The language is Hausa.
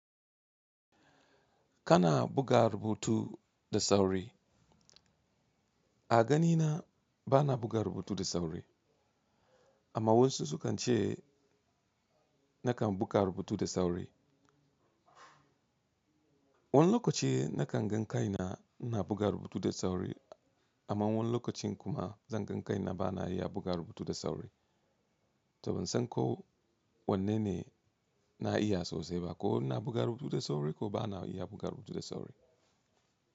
Kana buga rubutu da sauri? A ganina bana buga rubutu da sauri. Amma wasu sukan ce nakan buga rubutu da sauri. Wani lokaci nakan gan kai na, na buga rubutu da sauri amma wani lokacin kuma zan gan kai na bana iya buga rubutu da sauri. To ban san ko wanne ne na iya sosai ba, ko ina buga rubutu da sauri ko bana iya buga rubutu da sauri.